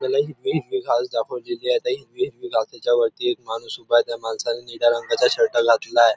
त्याला हिरवी हिरवी घास दाखवलेली आहे त्या हिरव्या हिरव्या घासेच्यावरती एक माणूस उभा आहे त्या माणसाने निळ्या रंगाचा शर्ट घातलेला आहे.